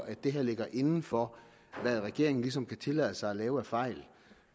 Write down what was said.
at det her ligger inden for hvad regeringen ligesom kan tillade sig at lave af fejl